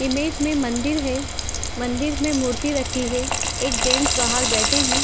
Image में मंदिर है मंदिर में मूर्ति रखी है। मंदिर में जेंट्स बाहर बैठे है।